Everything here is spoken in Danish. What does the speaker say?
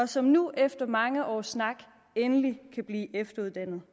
som nu efter mange års snak endelig kan blive efteruddannet